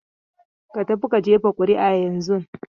Ka tafi ka jefa ƙuri'a yanzun!